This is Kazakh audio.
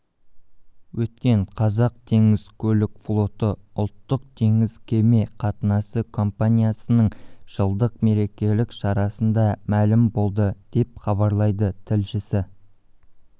өткен қазақтеңізкөлікфлоты ұлттық теңіз кеме қатынасы компаниясының жылдық мерекелік шарасында мәлім болды деп хабарлайды тілшісі